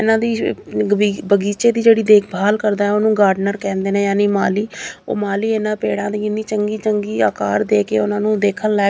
ਇਹਨਾਂ ਦੀ ਬਗੀਚੇ ਦੀ ਜਿਹੜੀ ਦੇਖਭਾਲ ਕਰਦਾ ਉਹ ਨੂੰ ਗਾਰਡਨਰ ਕਹਿੰਦੇ ਨੇ ਯਾਨੀ ਮਾਲੀ ਉਹ ਮਾਲੀ ਇਹਨਾਂ ਪੇੜਾਂ ਦੀ ਇੰਨੀ ਚੰਗੀ ਚੰਗੀ ਆਕਾਰ ਦੇ ਕੇ ਉਹਨਾਂ ਨੂੰ ਦੇਖਣ ਲਯਾਕ --